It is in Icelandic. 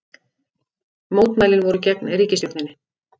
Mótmælin voru gegn ríkisstjórninni